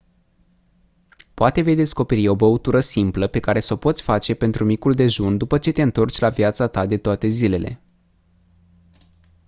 poate vei descoperi o băutură simplă pe care s-o poți face pentru micul dejun după ce te întorci la viața ta de toate zilele